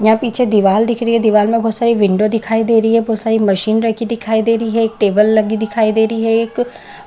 यहाँ पीछे दीवाल दिख रही है दीवाल में बहुत सारी विंडो दिखाई दे रही है बहुत सारी मशीन रखी हुई दिखाई दे रही है एक टेबल लगी हुई दिखाई दे रही है एक--